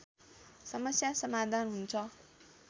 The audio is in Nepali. समस्या समाधान हुन्छ